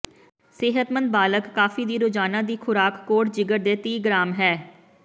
ਸਿਹਤਮੰਦ ਬਾਲਗ ਕਾਫ਼ੀ ਦੀ ਰੋਜ਼ਾਨਾ ਦੀ ਖੁਰਾਕ ਕੋਡ ਜਿਗਰ ਦੇ ਤੀਹ ਗ੍ਰਾਮ ਹੈ